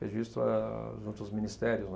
Registro é junto aos ministérios, né.